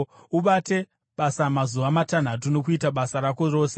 Ubate basa mazuva matanhatu, nokuita basa rako rose,